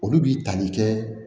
Olu b'i tali kɛ